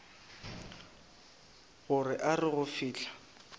gore a re go fihla